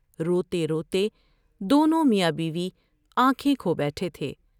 روتے روتے دونوں میاں بیوی آنکھیں کھو بیٹھے تھے ۔